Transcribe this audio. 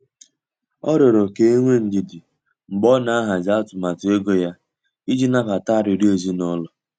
Ọ riọrọ ka enwee ndidi mgbe ọ na-ahazi atụmatụ ego ya iji nabata arịriọ ezinụlọ.